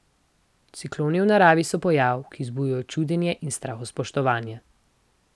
Cikloni v naravi so pojav, ki vzbuja čudenje in strahospoštovanje.